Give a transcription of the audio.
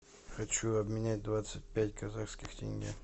хочу обменять двадцать пять казахских тенге